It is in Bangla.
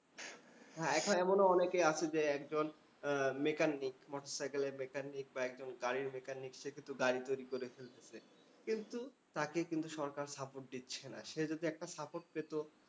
হ্যাঁ, এখন এমনও অনেকে আছে যে, একজন mechanic মোটরসাইকেলের mechanic বা একজন গাড়ির mechanic সে কিন্তু গাড়ি তৈরী করে ফেলতেসে। কিন্তু, তাকে কিন্তু সরকার support দিচ্ছে না। সে যদি একটা support পেতো,